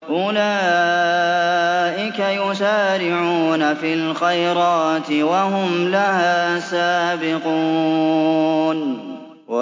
أُولَٰئِكَ يُسَارِعُونَ فِي الْخَيْرَاتِ وَهُمْ لَهَا سَابِقُونَ